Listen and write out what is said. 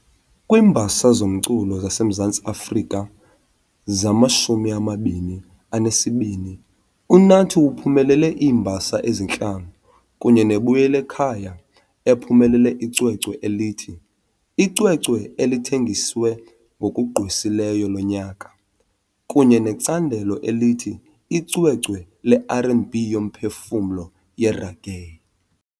KwiiMbasa zoMculo zaseMzantsi Afrika zama -22, uNathi uphumelele iimbasa ezintlanu kunye neBuyelekhaya ephumelele icwecwe elithi "icwecwe elithengiswe ngokugqwesileyo loNyaka" kunye necandelo elithi "Icwecwe leR and B yoMphefumlo, yeReggae".